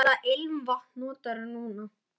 Hvaða ilmvatn notarðu núna?